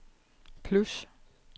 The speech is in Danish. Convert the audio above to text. plus